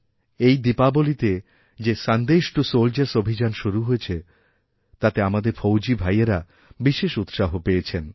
এই দীপাবলীতে যে সন্দেশ টু সোলজার্সঅভিযান শুরু হয়েছে তাতে আমাদের ফৌজি ভাইয়েরা বিশেষ উৎসাহ পেয়েছেন